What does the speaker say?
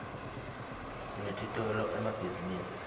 sinetitolo emabhzinisini